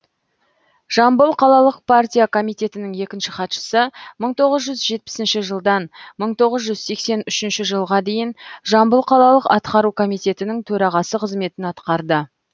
жамбыл қалалық партия комитетінің екінші хатшысы мың тоғыз жүз жетпісінші жылдан мың тоғыз жүз сексен үшінші жылға дейін жамбыл қалалық атқару комитетінің төрағасы қызметін атқарды